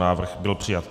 Návrh byl přijat.